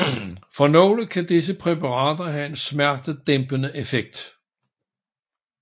For nogle kan disse præparater have en smertedæmpende effekt